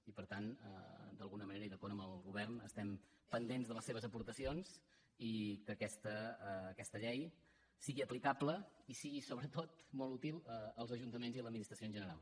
i per tant d’alguna manera i d’acord amb el govern estem pendents de les seves aportacions i que aquesta llei sigui aplicable i sigui sobretot molt útil als ajuntaments i a l’administració en general